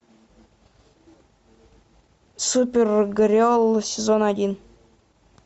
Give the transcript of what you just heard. супергерл сезон один